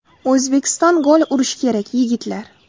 O‘zbekiston gol urish kerak, yigitlar!